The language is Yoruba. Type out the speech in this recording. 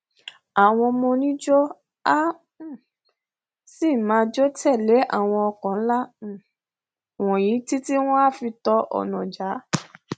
àwọn ọmọ oníjó a um sì máa jó tẹlé àwọn ọkọ nla um wọnyí títí wọn á fi tọ ọnà já